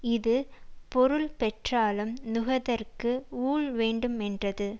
இது பொருள் பெற்றாலும் நுகர்தற்கு ஊழ்வேண்டுமென்றது